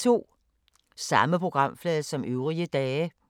Samme programflade som øvrige dage